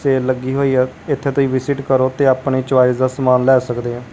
Sale ਲੱਗੀ ਹੋਈ ਆ ਇੱਥੇ ਤੁਸੀਂ ਵਿਜ਼ਿਟ ਕਰੋ ਤੇ ਆਪਣੇ ਚੋਆਇਸ ਦਾ ਸਮਾਨ ਲਏ ਸਕਦੇ ਆਂ।